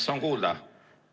Kas on kuulda?